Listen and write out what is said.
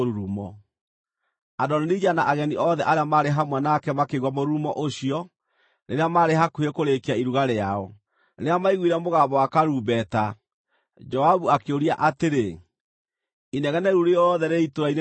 Adonija na ageni othe arĩa maarĩ hamwe nake makĩigua mũrurumo ũcio rĩrĩa maarĩ hakuhĩ kũrĩĩkia iruga rĩao. Rĩrĩa maiguire mũgambo wa karumbeta, Joabu akĩũria atĩrĩ, “Inegene rĩu rĩothe rĩrĩ itũũra-inĩ nĩ rĩa kĩĩ?”